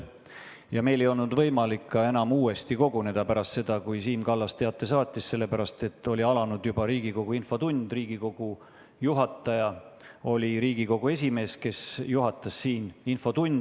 Meil ei olnud enam võimalik uuesti koguneda pärast seda, kui Siim Kallas oli teate saatnud, sellepärast et alanud oli Riigikogu infotund ja Riigikogu esimees juhatas siin infotundi.